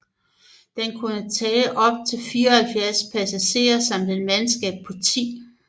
Den kunne tage op til 74 passagerer samt et mandskab på 10